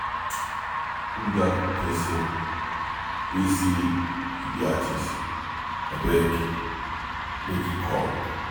Who be dat person wey say he be artist? Abeg make he come.